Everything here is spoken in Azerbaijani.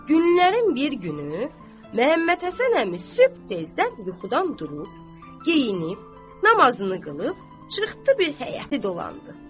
Günlərin bir günü Məhəmməd Həsən əmi sübh tezdən yuxudan durub, geyinib, namazını qılıb, çıxdı bir həyəti dolandı.